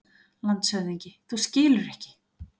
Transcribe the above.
LANDSHÖFÐINGI: Þú skilur ekki!